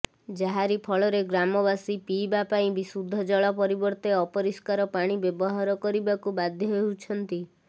ଯାହାରି ଫଳରେ ଗ୍ରାମବାସୀ ପିଇବା ପାଇଁ ବିଶୁଦ୍ଧ ଜଳ ପରିବର୍ତ୍ତେ ଅପରିଷ୍କାର ପାଣି ବ୍ୟବହାର କରିବାକୁ ବାଧ୍ୟ ହେଉଛନ୍ତି